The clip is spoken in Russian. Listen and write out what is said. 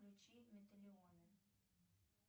включи металионы